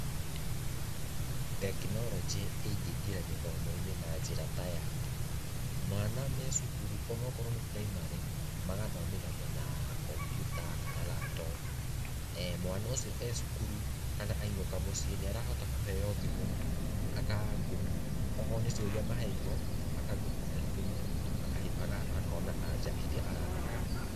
Tekinoronjĩ ĩngĩingĩra gĩthomo-inĩ na njĩra ta ya, mwana me cukuru ona okorwo nĩ primary, magathomithagio na computer kana laptop, mwana ũcio e cukuru kana ainũka muciĩ nĩ arahota kũheo thimũ aka google, okorwo nĩ ciũria maheirwo, aka google na thimũ akona anja iria arabatara.